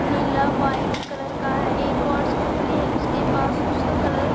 नीला white colour का है एक और स्कूटरी है उसके पास उसका कलर --